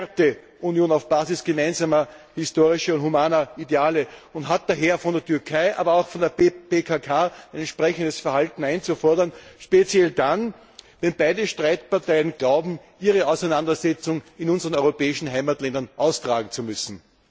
Sie ist eine Werteunion auf Basis gemeinsamer historischer und humaner Ideale und hat daher von der Türkei, aber auch von der PKK ein entsprechendes Verhalten einzufordern, speziell dann, wenn beide Streitparteien glauben, ihre Auseinandersetzung in unseren europäischen Heimatländern austragen zu müssen.